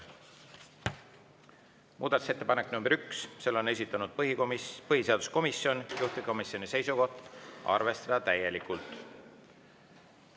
Muudatusettepanek nr 1, selle on esitanud põhiseaduskomisjon, juhtivkomisjoni seisukoht: arvestada täielikult.